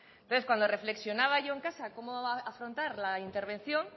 entonces cuando reflexionaba yo en casa cómo afrontar la intervención